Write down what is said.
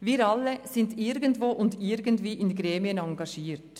Wir alle sind irgendwo und irgendwie in Gremien engagiert.